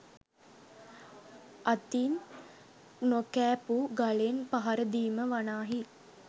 අතින් නොකෑපූ ගලෙන් පහරදීම වනාහි